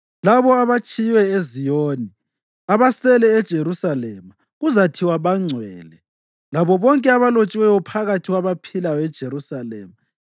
Labo abatshiywe eZiyoni, abasele eJerusalema, kuzathiwa bangcwele, labo bonke abalotshiweyo phakathi kwabaphilayo eJerusalema.